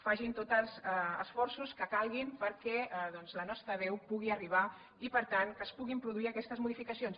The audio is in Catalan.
facin tots els esforços que calguin perquè doncs la nostra veu pugui arribar i per tant que es puguin produir aquestes modificacions